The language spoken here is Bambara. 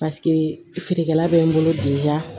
Paseke feerekɛla bɛ n bolo